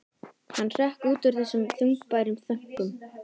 Hann hrökk út úr þessum þungbæru þönkum.